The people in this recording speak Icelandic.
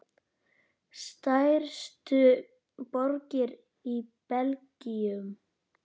Stærstu borgir í Belgíu